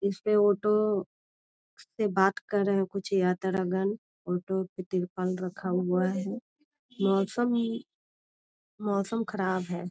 इसपे ऑटो इस पे बात कर रहे कुछ यात्रगण ऑटो पे तिरपाल रखा हुआ है । मौसम मौसम खराब हैं।